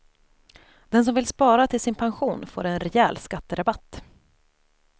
Den som vill spara till sin pension får en rejäl skatterabatt.